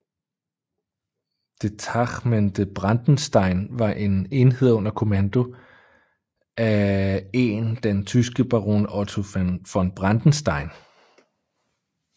Detachmente Brandenstein var en enhed under kommando af en den tyske Baron Otto von Brandenstein